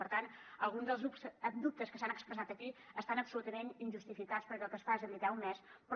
per tant alguns dels dubtes que s’han expressat aquí estan absolutament injustificats perquè el que es fa és habilitar un mes però